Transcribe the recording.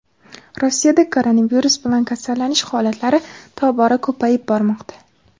Rossiyada koronavirus bilan kasallanish holatlari tobora ko‘payib bormoqda.